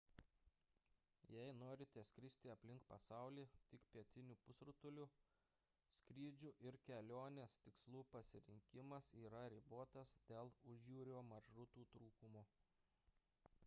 jei norite skristi aplink pasaulį tik pietiniu pusrutuliu skrydžių ir kelionės tikslų pasirinkimas yra ribotas dėl užjūrio maršrutų trūkumo